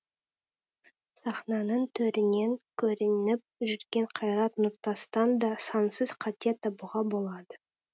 сахнаның төрінен көрініп жүрген қайрат нұртастан да сансыз қате табуға болады